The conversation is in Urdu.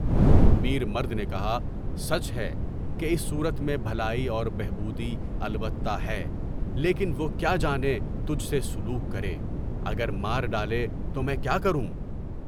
میر مرد نے کہا، سچ ہے کہ اس صورت میں بھلائی اور بہبود البتہ ہے، لیکن وہ کیا جانے بچّے سے سلوک کرے، اگر مار ڈالے تو میں کیا کروں؟